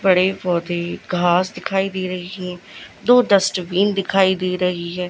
बड़े पौधे घास दिखाई दे रही दो डस्टबिन दिखाई दे रही है।